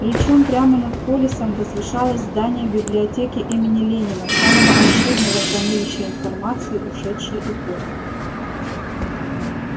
причём прямо над полисом возвышалось здание библиотеки имени ленина самого обширного хранилища информации ушедшей эпохи